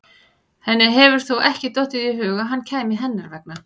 Henni hefur þó ekki dottið í hug að hann kæmi hennar vegna?